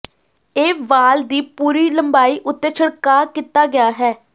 ਇਹ ਵਾਲ ਦੀ ਪੂਰੀ ਲੰਬਾਈ ਉੱਤੇ ਛਿੜਕਾਅ ਕੀਤਾ ਗਿਆ ਹੈ